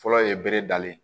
Fɔlɔ ye bere dalen ye